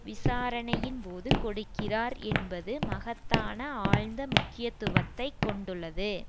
விசாரணையின்போது கொடுக்கிறார் என்பது மகத்தான ஆழ்ந்த முக்கியத்துவத்தை கொண்டுள்ளது